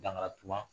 Dankara tubabu